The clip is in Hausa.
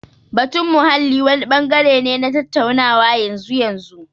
Batun muhalli wani bangare ne na tattaunawa na yanzu. yanzu